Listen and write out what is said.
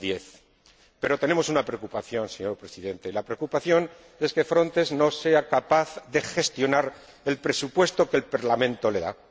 2010. Pero tenemos una preocupación, señor Presidente, la preocupación es que Frontex no sea capaz de gestionar el presupuesto que el Parlamento le da.